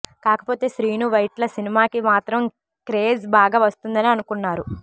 కాకపోతే శ్రీను వైట్ల సినిమాకి మాత్రం క్రేజ్ బాగా వస్తుందని అనుకున్నారు